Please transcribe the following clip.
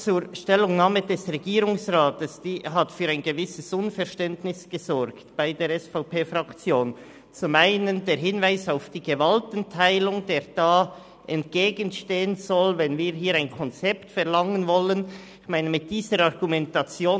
Zur Stellungnahme des Regierungsrats: Sie hat bei der SVP-Fraktion für ein gewisses Unverständnis gesorgt, so zum einen mit dem Hinweis auf die Gewaltenteilung, die dem von uns verlangten Konzept entgegenstehen soll.